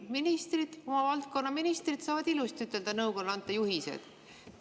Ministrid, valdkonnaministrid saavad ilusti ütelda, nõukogule juhiseid anda.